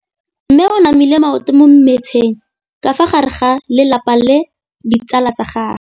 Mme o namile maoto mo mmetseng ka fa gare ga lelapa le ditsala tsa gagwe.